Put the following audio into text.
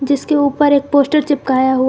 इसके ऊपर एक पोस्टर चिपकाया हुआ--